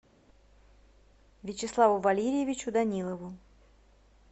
вячеславу валерьевичу данилову